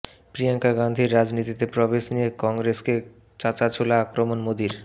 প্রিয়াঙ্কা গান্ধীর রাজনীতিতে প্রবেশ নিয়ে কংগ্রেসকে চাঁচাছোলা আক্রমণ মোদীর